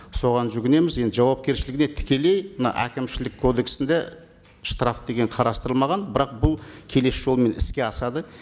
соған жүгінеміз енді жауапкершілігіне тікелей мына әкімшілік кодексінде штраф деген қарастырылмаған бірақ бұл келесі жолмен іске асады